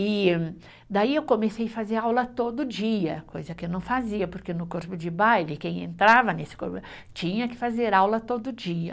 E daí eu comecei fazer aula todo dia, coisa que eu não fazia, porque no corpo de baile, quem entrava nesse tinha que fazer aula todo dia.